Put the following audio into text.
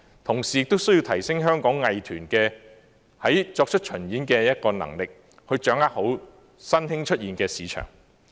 同時，亦需提升香港藝團作出巡演的能力，好好掌握新興出現的市場。